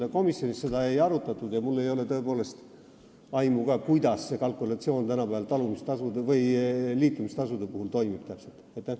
Aga komisjonis seda ei arutatud ja mul ei ole tõepoolest aimu, kuidas see kalkulatsioon tänapäeval liitumistasude puhul täpselt toimub.